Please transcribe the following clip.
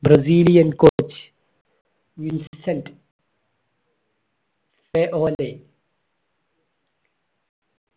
Brazilian coach